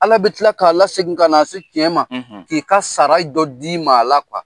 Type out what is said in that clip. Ala be tila k'a lasegi ka n'a se tiɲɛ ma, k'i ka sara dɔ d'i ma a la .